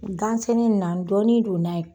Gansɛnɛ na dɔnni do